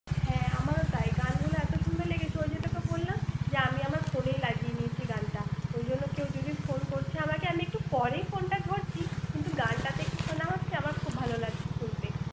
হ্যাঁ। আমারও তাই। গানগুলো এত সুন্দর লেগেছে, ওই যে তোকে বললাম, যে আমি আমার ফোনেই লাগিয়ে নিয়েছি গানটা। ওই জন্য কেউ যদি ফোন করছে আমাকে আমি একটু পরেই ফোনটা ধরছি, কিন্তু গানটা একটু শোনা হচ্ছে, আমার খুব ভাল লাগছে শুনতে।